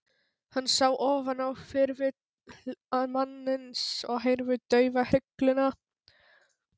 Hann sá ofan á hvirfil mannsins og heyrði dauðahrygluna.